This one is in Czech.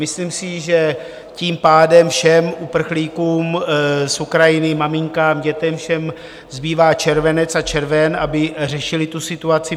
Myslím si, že tím pádem všem uprchlíkům z Ukrajiny, maminkám, dětem, všem, zbývá červen a červenec, aby řešili tu situaci.